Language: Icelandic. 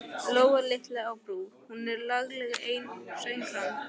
Lóa litla á Brú, hún er lagleg enn, söng hann.